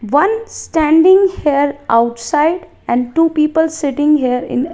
one standing here outside and two people sitting here in --